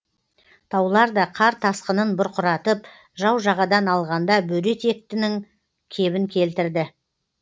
таулар да қар тасқынын бұрқыратып жау жағадан алғанда бөрі етектінің кебін келтірді